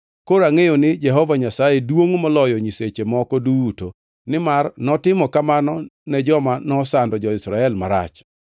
Koro angʼeyo ni Jehova Nyasaye duongʼ moloyo nyiseche moko duto, nimar notimo kamano ne joma nosando jo-Israel marach.”